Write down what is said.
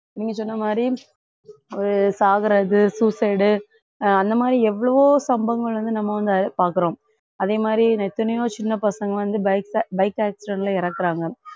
நீங்க சொன்ன மாதிரி ஒரு சாகுறது suicide உ அந்த மாதிரி எவ்வளவோ சம்பவங்கள் வந்து நம்ம வந்து பார்க்கிறோம் அதே மாதிரி எத்தனையோ சின்ன பசங்க வந்து bike ac~ bike accident ல இறக்கறாங்க